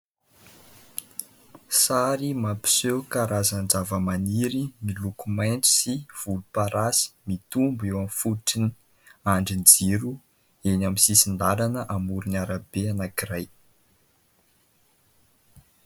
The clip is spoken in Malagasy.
Sary mampiseho karazan-java-maniry miloko maitso sy volom-parasy, mitombo eo amin'ny fototrin'ny andrin-jiro eny amin'ny sisin-dalana amoron' ny arabe anankiray.